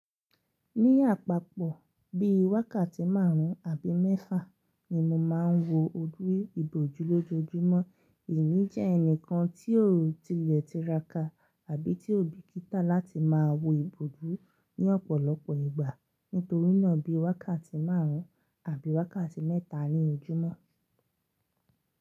Ní àpapọ̀ bíi wákàtí márùn-ún àbí mẹ́fà ni mo máa ń wo oju ibòjú lójoojúmọ́. Èmi jẹ́ ẹnìkan tí ó tilẹ tiraká àbí tí ó bìkítà láti máa wo ibòjú ní ọ̀pọ̀lọpọ̀ ìgbà. Nítorí náà bíi wákàtí márùn-ún àbí wákàtí mẹ́ta ní ojúmọ́.